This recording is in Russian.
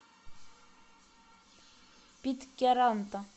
питкяранта